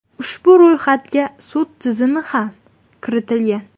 Ushbu ro‘yxatga sud tizimi ham kiritilgan .